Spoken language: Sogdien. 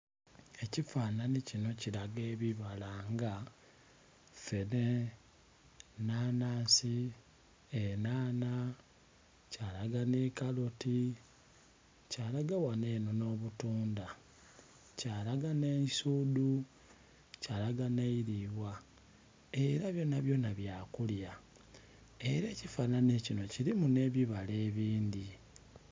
Ekifananhi kinho kilaga ebibala nga feene, enanhansi, enhanha kyalaga nhi kaloti, kyalaga ghanho enho nho butundha, kyalaga nhe eisudhu, kyalaga nhe eilibwa era byona byona bya kulya era ekifananhi kinho kilimu nhe bibala ebindhi.